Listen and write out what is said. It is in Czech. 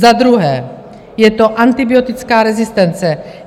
Za druhé je to antibiotická rezistence.